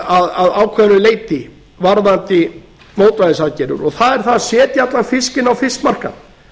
að ákveðnu leyti varðandi mótvægisaðgerðir og það er það að setja allan fiskinn á fiskmarkað